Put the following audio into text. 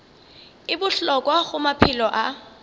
e bohlokwa go maphelo a